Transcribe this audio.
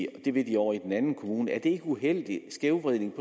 at det vil de ovre i den anden kommune er det ikke en uheldig skævvridning